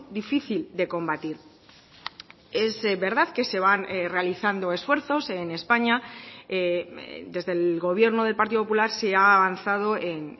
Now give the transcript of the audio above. difícil de combatir es verdad que se van realizando esfuerzos en españa desde el gobierno del partido popular se ha avanzado en